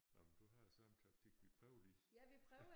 Nåh men du har samme taktik vi prøver lige